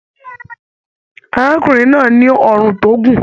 Arákùnrin náà ní ọrún tó gùn.